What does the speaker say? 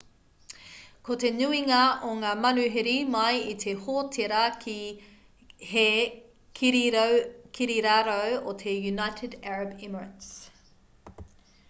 ko te nuinga o ngā manuhiri mai i te hōtēra he kirirarau o te united arab emirates